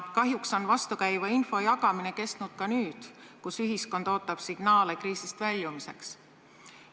Kahjuks on vastukäiva info jagamine kestnud ka nüüd, kus ühiskond ootab signaale kriisist väljumiseks.